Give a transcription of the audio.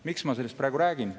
Miks ma sellest räägin?